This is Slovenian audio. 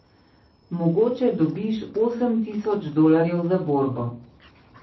Mogoče dobiš osem tisoč dolarjev za borbo.